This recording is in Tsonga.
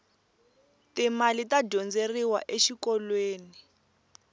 ti mali ta dyondzeriwa exikolweni